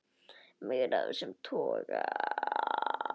Meira af þessum toga.